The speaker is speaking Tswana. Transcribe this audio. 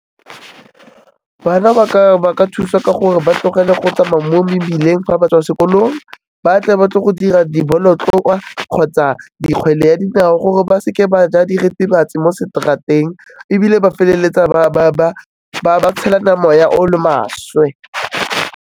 Bana ba ka thusa ka gore ba tlogele go tsamaya mo mebileng fa ba tswa sekolong, ba tle ba tle go dira dibolotloa kgotsa di kgwele ya dinao gore ba seke ba ja diritibatsi mo straat-eng ebile ba feleletsa ba tshelana moya o o le maswe.